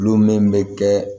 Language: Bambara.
Kulon min bɛ kɛ